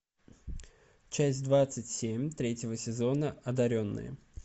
часть двадцать семь третьего сезона одаренные